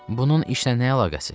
Bunun işlə nə əlaqəsi?